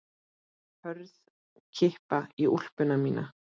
Hörð kippa í úlpuna mína.